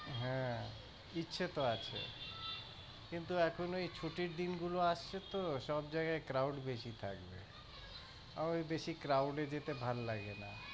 হ্যাঁ ইচ্ছা তো আছে কিন্তু এখন ওই ছুটির দিনগুলো আসছে তো, সবজায়গায় crowd বেশি থাকবে আমার বেশি crowd যেতে ভাল্লাগেনা।